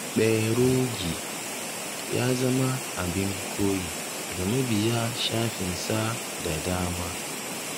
Kperogi ya zama abin koyi ga mabiya shafinsa da dama.